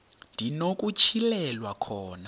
ndi nokutyhilelwa khona